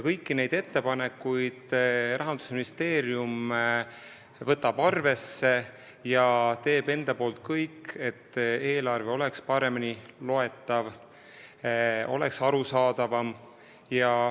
Kõiki neid ettepanekuid võtab Rahandusministeerium arvesse ja teeb kõik, et eelarve oleks paremini loetav ja arusaadavam.